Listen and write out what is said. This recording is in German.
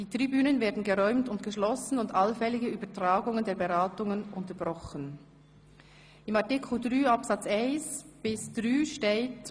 Die Tribünen werden geräumt und geschlossen und allfällige Übertragungen der Beratungen unterbrochen.»In Artikel 7 Absatz 1–3 GO heisst es: